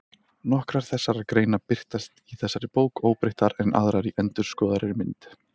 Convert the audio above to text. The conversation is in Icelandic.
Nokkrar þessara greina birtast í þessari bók óbreyttar en aðrar í endurskoðaðri mynd.